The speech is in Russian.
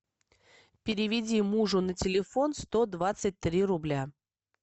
переведи мужу на телефон сто двадцать три рубля